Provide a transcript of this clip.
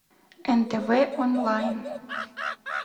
нтв онлайн